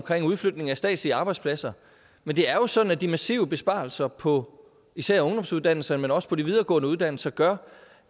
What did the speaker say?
udflytning af statslige arbejdspladser men det er jo sådan at de massive besparelser på især ungdomsuddannelser men også på de videregående uddannelser gør